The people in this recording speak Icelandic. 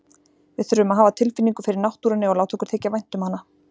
Við þurfum að hafa tilfinningu fyrir náttúrunni og láta okkur þykja vænt um hana.